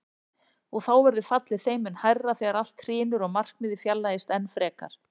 Og þá verður fallið þeim mun hærra þegar allt hrynur og markmiðið fjarlægist enn frekar.